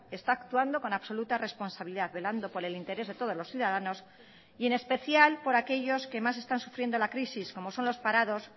está actuando con absoluta responsabilidad velando por el interés de todos los ciudadanos y en especial por aquellos que más están sufriendo la crisis como son los parados